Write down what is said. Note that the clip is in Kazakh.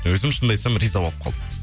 өзім шынымды айтсам риза болып қалдым